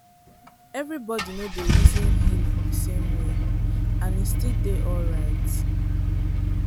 everybody no dey reason healing the same way and e still dey alright.